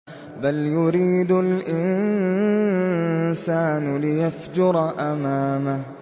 بَلْ يُرِيدُ الْإِنسَانُ لِيَفْجُرَ أَمَامَهُ